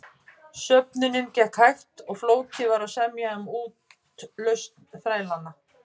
Söfnunin gekk hægt og flókið var að semja um útlausn þrælanna.